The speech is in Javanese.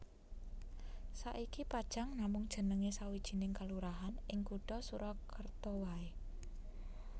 Saiki Pajang namung jenengé sawijining kalurahan ing kutha Surakarta waé